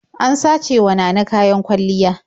An sacewa Nana kayan kwalliya.